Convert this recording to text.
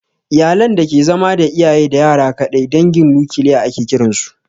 Iyalan da ke zama da iyaye da yara kaɗai dangin nukiliya ake kiran su